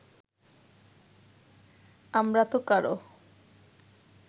আমরাতো কারো